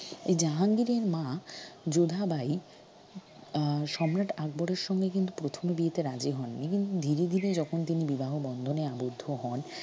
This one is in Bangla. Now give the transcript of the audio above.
এই জাহাঙ্গীরের মা যোধাবাই আহ সম্রাট আকবরের সঙ্গে কিন্তু প্রথমে বিয়েতে রাজি হন নি ‍কিন্তু ধীরে ধীরে যখন তিনি বিবাহ বন্ধনে আবদ্ধ হন